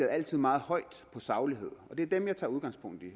altså meget højt på sagligheden og det er dem jeg tager udgangspunkt i